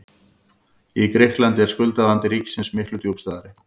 Í Grikklandi er skuldavandi ríkisins miklu djúpstæðari.